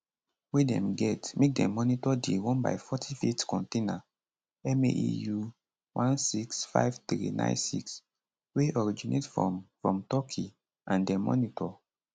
wey dem get make dem monitor di 1 by 40ft container maeu165396 wey originate from from turkey and dem monitor